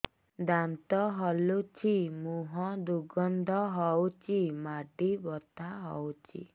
ଦାନ୍ତ ହଲୁଛି ମୁହଁ ଦୁର୍ଗନ୍ଧ ହଉଚି ମାଢି ବଥା ହଉଚି